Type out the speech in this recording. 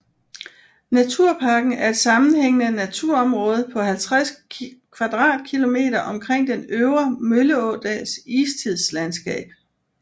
Naturparken er et sammenhængende naturområde på 50 km2 omkring den Øvre Mølleådals istidslandskab